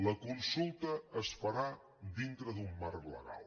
la consulta es farà dintre d’un marc legal